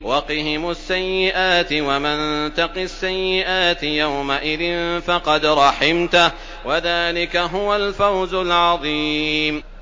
وَقِهِمُ السَّيِّئَاتِ ۚ وَمَن تَقِ السَّيِّئَاتِ يَوْمَئِذٍ فَقَدْ رَحِمْتَهُ ۚ وَذَٰلِكَ هُوَ الْفَوْزُ الْعَظِيمُ